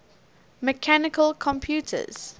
mechanical computers